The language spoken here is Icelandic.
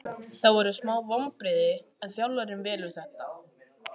Það voru smá vonbrigði en þjálfarinn velur þetta.